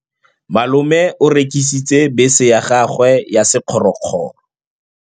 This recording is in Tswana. Malome o rekisitse bese ya gagwe ya sekgorokgoro.